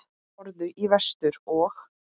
Horfðu í vestur og.